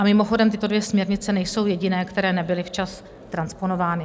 A mimochodem, tyto dvě směrnice nejsou jediné, které nebyly včas transponovány.